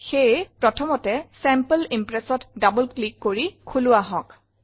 সেয়ে প্ৰথমতে চেম্পল Impressত double ক্লিক কৰি খোলো আহঁক